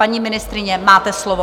Paní ministryně, máte slovo.